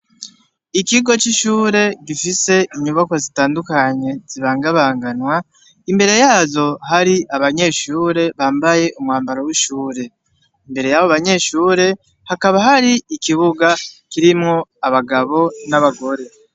ikigo c'ishure gifise inyubako zitandukanye zibangabanganwa imbere yazo hari abanyeshure bambaye umwambaro w'ishure imbere y'abo abanyeshure hakaba hari ikibuga kirimwo abagabo n'abagore